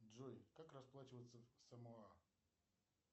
джой как расплачиваться в самоа